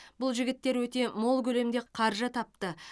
бұл жігіттер өте мол көлемде қаржы тапты